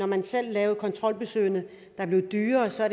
man selv lavede kontrolbesøgene der blev dyrere og så